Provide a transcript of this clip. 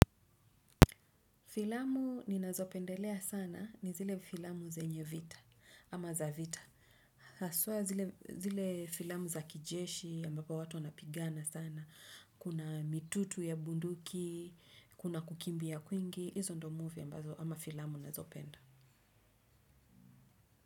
Filamu ninazo pendelea sana ni zile filamu zenye vita ama za vita. Haswa zile filamu za kijeshi ambapo watu wanapigana sana. Kuna mitutu ya bunduki, kuna kukimbia kwingi. Izo ndo muvi ambazo ama filamu nazopenda.